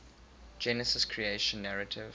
genesis creation narrative